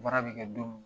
Baara bɛ kɛ don min